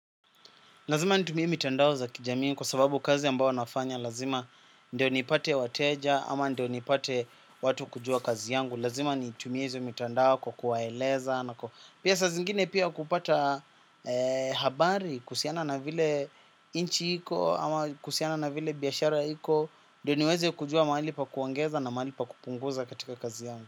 Lazima nitumie mitandao za kijamii kwa sababu kazi ambao nafanya lazima ndio nipate wateja ama ndio nipate watu kujua kazi yangu. Lazima nitumie hizo mitandao kwa kuwaeleza na kwa pia sa zingine pia kupata habari kuhusiana na vile nchi iko ama kuhusiana na vile biashara iko. Ndio niweze kujua mahali pa kuongeza na mahali pa kupunguza katika kazi yangu.